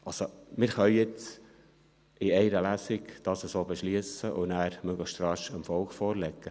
Also: Wir können dies jetzt in einer Lesung so beschliessen und nachher möglichst rasch dem Volk vorlegen.